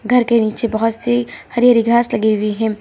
घर के नीचे बहोत सी हरी हरी घास लगी हुई हैं।